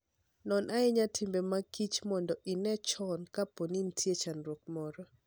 Non ahinya timbe mag kich mondo ine chon kapo ni nitie chandruok moro.